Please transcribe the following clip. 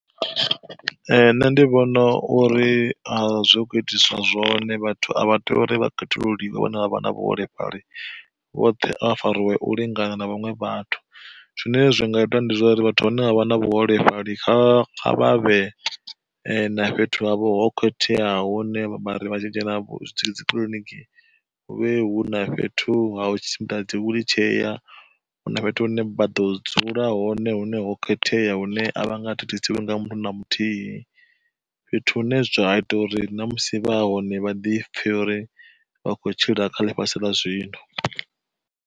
Ee nṋe ndi vhona uri a zwi kho itiswa zwone vhathu a vha tea uri vha khethululiwe vhuholefhali vhoṱhe avha fariwe u lingana na vhaṅwe vhathu. Zwine zwi nga ita ndi zwa uri vhathu vhane vha vha na vhuholefhali kha vha vhe na fhethu havho ho khetheaho, hune vha ri vha tshi dzhena dzikiḽiniki hu vhe hu na fhethu ho tshimbila dzi wiḽitshea, hu na fhethu hune vha ḓo dzula hone hune ho khethea hune a vha nga thithisisiwi nanga muthu na muthihi. Fhethu hune zwa ita uri na musi vha hone vha ḓi pfe uri vha khou tshila kha ḽifhasi ḽa zwino.